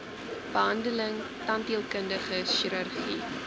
behandeling tandheelkundige chirurgie